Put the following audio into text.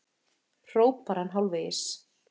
hrópar hann hálfvegis.